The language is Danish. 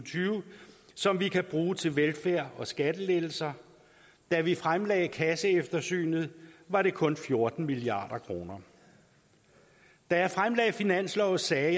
som vi kan bruge til velfærd og skattelettelser da vi fremlagde kasseeftersynet var det kun fjorten milliard kroner da jeg fremlagde finanslovsforslaget